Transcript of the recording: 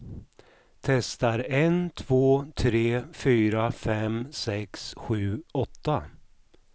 Testar en två tre fyra fem sex sju åtta.